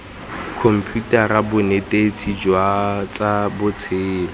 khomputara bonetetshi jwa tsa botshelo